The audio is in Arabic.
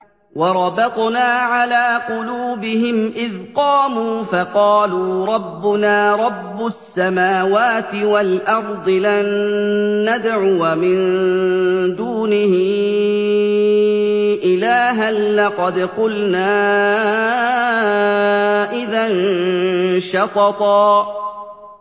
وَرَبَطْنَا عَلَىٰ قُلُوبِهِمْ إِذْ قَامُوا فَقَالُوا رَبُّنَا رَبُّ السَّمَاوَاتِ وَالْأَرْضِ لَن نَّدْعُوَ مِن دُونِهِ إِلَٰهًا ۖ لَّقَدْ قُلْنَا إِذًا شَطَطًا